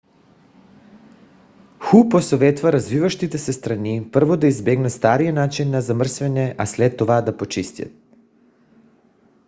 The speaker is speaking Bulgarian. ху посъветва развиващите се страни първо да избегнат стария начин на замърсяване а след това да почистят